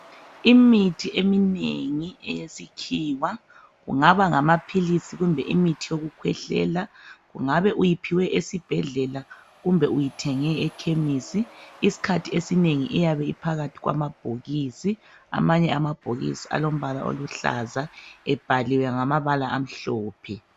Imithi eminengi eyesikhiwa kungaba ngamaphilisi kumbe imithi yokukhwehlela kungabe uyiphiwe esibhedlela kumbe uyithenge e kemisi isikhathi esinengi iyabe iphakathi kwamabhokisi amanye amabhokisi alombala oluhlaza ebhaliwe ngamabala amhlophe.